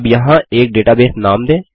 अब यहाँ एक डेटाबेस नाम दें